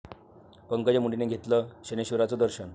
पंकजा मुंडेंनी घेतलं शनैश्वराचं दर्शन